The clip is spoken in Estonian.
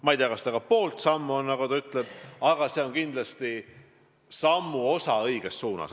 Ma ei tea, kas see ka poolt sammu on, nagu ta ütleb, aga see on kindlasti sammuke õiges suunas.